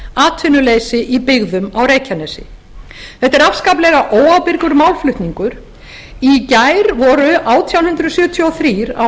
atvinnuleysi í byggðum á reykjanesi verður að tengja við fyrri spólu þetta er afskaplega óábyrgur málflutningur í gær voru átján hundruð sjötíu og þrjú á